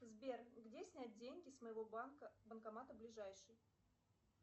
сбер где снять деньги с моего банка банкомата ближайший